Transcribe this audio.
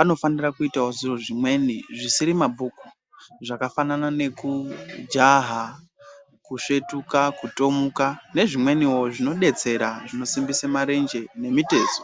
anofanira kuitawo zviro zvimweni zvisiri mabhuku zvakafanana nekujaha kusvetuka kutomuka nezvimweniwo zvinodetsera zvinosimbise marenje nemitezo.